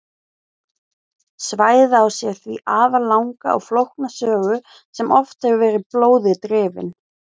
Svæðið á sér því afar langa og flókna sögu sem oft hefur verið blóði drifin.